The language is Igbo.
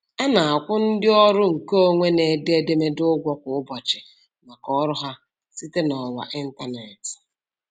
A na-akwụ ndị ọrụ nke onwe na-ede edemede ụgwọ kwa ụbọchị maka ọrụ ha site n'ọwa ịntaneetị.